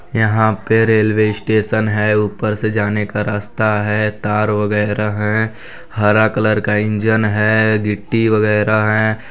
यहाँ पे railway station है ऊपर से जाने का रास्ता है तार वगैरह है हरे कलर का इंजन है गिट्टी वगैरह हैं।